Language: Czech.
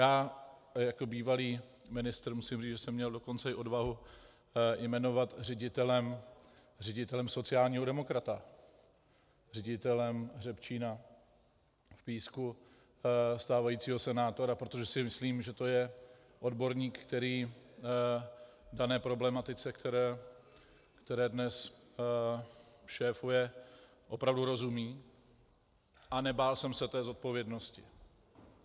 A jako bývalý ministr musím říct, že jsem měl dokonce i odvahu jmenovat ředitelem sociálního demokrata, ředitelem hřebčína v Písku, stávajícího senátora, protože si myslím, že to je odborník, který dané problematice, které dnes šéfuje, opravdu rozumí, a nebál jsem se té odpovědnosti.